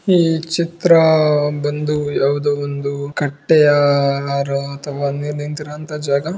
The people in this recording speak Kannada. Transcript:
ಈ ಚಿತ್ರ ಬಂದು ಯಾವುದೋ ಒಂದು ಕಟ್ಟೆಯ ಅಥವಾ ನೀರು ನಿಂತಿರುವಂತ ಜಾಗ.